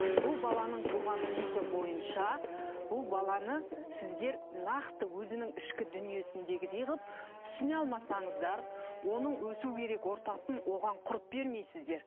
бұл баланың туған типі бойынша бұл баланы сіздер нақты өзінің ішкі дүниесіндегідей қылып түсіне алмасаңыздар оның өсу керек ортасын оған құрып бермейсіздер